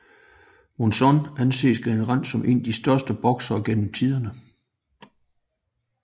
Monzon anses generelt som en af de største boksere gennem tiderne